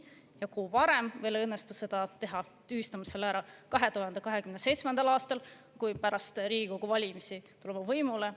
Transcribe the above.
Ja kui varem meil ei õnnestu seda teha, tühistame selle 2027. aastal, kui pärast Riigikogu valimisi tuleme võimule.